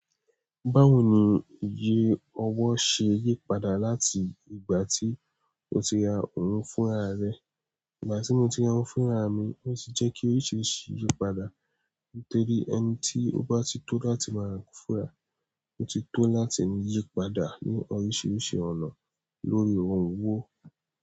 Báwo ni ìyè owó ṣe yí padà láti ìgbà tí o ti ra òun fúnra rẹ? Ìgbà tí mo ti ra òun fúnra mi, ó ti jẹ́ kí oríṣìíríṣìí yí padà nítorí ẹni tí ó bá ti tó láti maa raa nkan fúnra, ó ti tó láti yí padà ní oríṣìíríṣìí ọ̀nà lórí ohun owó.